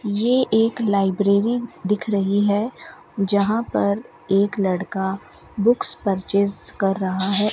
ये एक लाइब्रेरी दिख रही है जहां पर एक लड़का बुक्स परचेज कर रहा है।